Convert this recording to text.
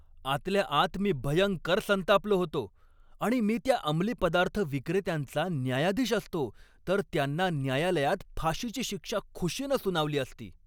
आतल्या आत मी भयंकर संतापलो होतो आणि मी त्या अमली पदार्थ विक्रेत्यांचा न्यायाधीश असतो तर त्यांना न्यायालयात फाशीची शिक्षा खुशीनं सुनावली असती.